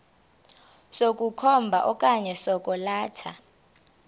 sokukhomba okanye sokwalatha